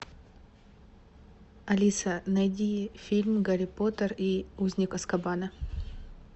алиса найди фильм гарри поттер и узник азкабана